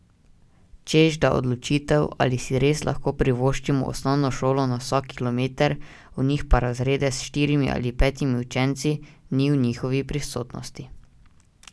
Češ da odločitev, ali si res lahko privoščimo osnovno šolo na vsak kilometer, v njih pa razrede s štirimi ali petimi učenci, ni v njihovi pristojnosti.